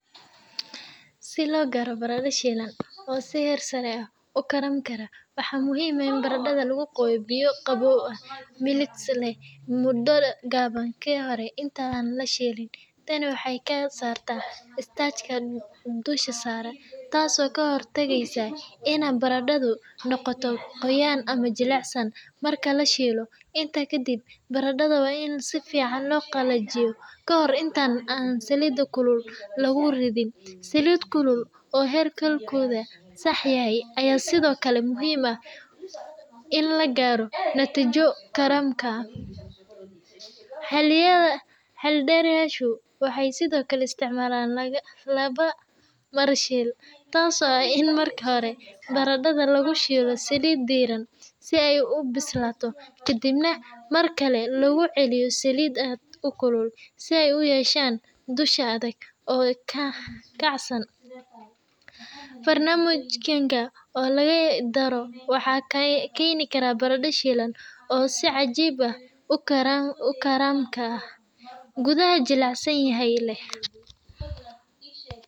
Si loo gaaro baradho shiilan oo si heer sare ah u karamka ah, waxaa muhiim ah in baradhada lagu qooyo biyo qabow oo milix leh muddo gaaban ka hor inta aan la shiilin. Tani waxay ka saartaa starch-ka dusha sare, taasoo ka hortagaysa inay baradhadu noqoto qoyaan ama jilicsanaan marka la shiilo. Intaa ka dib, baradhada waa in si fiican loo qalajiyaa ka hor inta aan saliid kulul lagu ridin. Saliid kulul oo heerkulkeedu sax yahay ayaa sidoo kale muhiim u ah in la gaaro natiijo karamka leh. Xeeldheerayaashu waxay sidoo kale isticmaalaan laba mar-shiil, taasoo ah in marka hore baradhada lagu shiilo saliid diiran si ay u bislaato, kadibna markale lagu celiyo saliid aad u kulul si ay u yeeshaan dusha adag oo kacsan. Farsamooyinkan oo la isku daro waxay keenayaan baradho shiilan oo si cajiib ah u karamka ah, gudaha jilicsan yahayna leh.